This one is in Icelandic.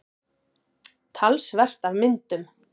Talsvert af myndum.